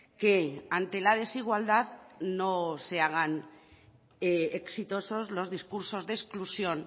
que ante la desigualdad no se hagan exitosos los discursos de exclusión